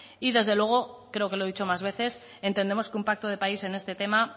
y desde luego creo que lo he dicho más veces entendemos que un pacto de país en este tema